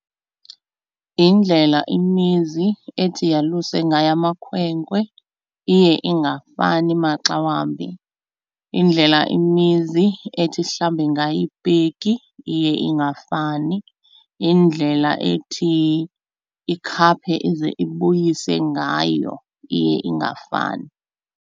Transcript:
Yindlela imizi ethi yaluse ngayo amakhwenkwe iye ingafani maxa wambi. Indlela imizi ethi ihlambe ngayo ipiki iye ingafani. Indlela ethi ikhaphe ize ibuyise ngayo iye ingafani.